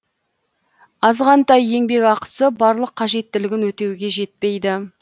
азғантай еңбекақысы барлық қажеттілігін өтеуге жетпейді